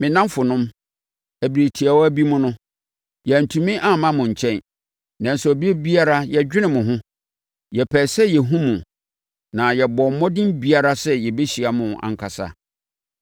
Me nnamfonom, ɛberɛ tiawa bi mu no, yɛantumi amma mo nkyɛn, nanso ɛberɛ biara na yɛdwene mo ho. Yɛpɛɛ sɛ yɛhunu mo, na yɛbɔɔ mmɔden biara sɛ yɛbɛhyia mo ankasa.